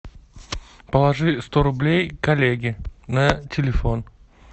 положи сто рублей коллеге на телефон